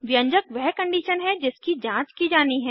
व्यंजक वह कंडीशन है जिसकी जांच की जानी है